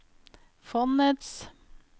fondets